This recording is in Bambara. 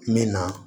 N bɛ na